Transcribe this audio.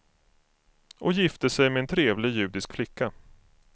Och gifte sig med en trevlig judisk flicka.